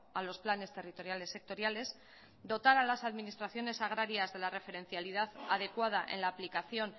a los planes territoriales sectoriales dotar a las administraciones agrarias de la referencialidad adecuada en la aplicación